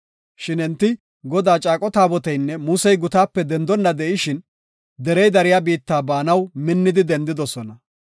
Shin enti Godaa Caaqo Taaboteynne Musey gutaape dendonna de7ishin, derey dariya biitta baanaw minnidi dendidosona.